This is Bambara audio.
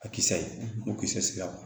A kisɛ ye o kisɛ sigira ma